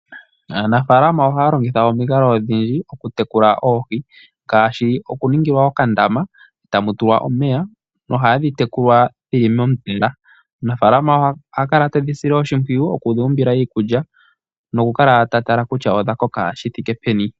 Aanafaalama ohaya longitha omikalo odhindji okutekula oohi ngaashi okuningilwa okandama tamu tulwa omeya nohadhi tekulwa dhi li mondama. Omunafaalama oha kala te dhi sile oshimpwiyu okudhi umbila iikulya nokukala ta tala kutya odha koka shi thike peni.